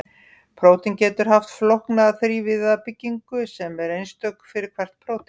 Prótín geta haft flókna þrívíða byggingu sem er einstök fyrir hvert prótín.